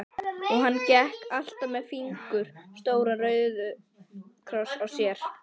Og hann gekk alltaf með fingur stóran róðukross á sér.